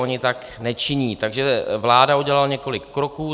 Ony tak nečiní, takže vláda udělala několik kroků.